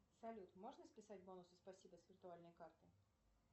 салют можно списать бонусы спасибо с виртуальной карты